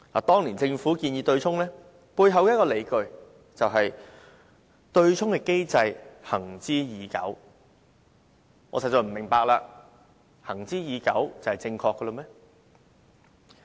當年政府建議對沖，只有一個理據，就是對沖機制"行之已久"，我實在不明白，"行之已久"就表示是正確嗎？